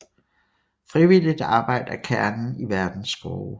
Frivilligt arbejde er kernen i Verdens Skove